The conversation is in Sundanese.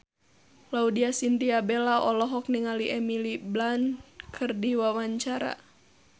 Laudya Chintya Bella olohok ningali Emily Blunt keur diwawancara